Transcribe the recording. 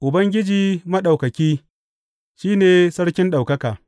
Ubangiji Maɗaukaki, shi ne Sarkin ɗaukaka.